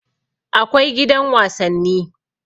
Akwai gidan wasanni